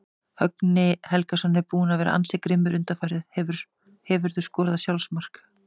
Högni Helgason er búinn að vera ansi grimmur undanfarið Hefurðu skorað sjálfsmark?